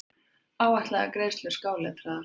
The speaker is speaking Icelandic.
Áætlaðar greiðslur skáletraðar.